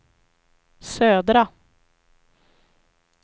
södra